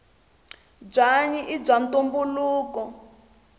bwanyi ibwaantumbuluko